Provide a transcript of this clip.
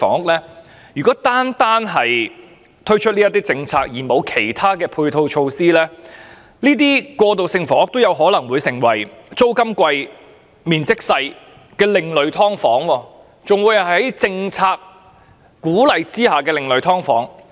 不過，如果單單推出政策而沒有制訂其他配套措施，過渡性房屋有可能成為租金貴而面積小的另類"劏房"，更是獲得政策鼓勵的另類"劏房"。